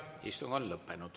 Istung on lõppenud.